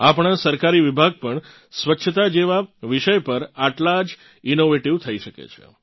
આપણાં સરકારી વિભાગ પણ સ્વચ્છતા જેવાં વિષય પર આટલાં ઇનોવેટીવ થઇ શકે છે